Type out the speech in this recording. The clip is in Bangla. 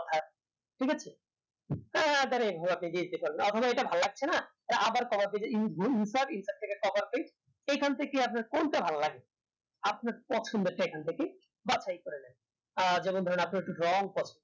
ঠিক আছে তো একবারে আপনাকে এটা ভালো লাগছে না সেই খান থেকে আপনার কোনটা ভালো লাগে আপনার পছন্দটা এখন থেকে বাছাই করে নেবেন যেমন ধরেন আপনার long process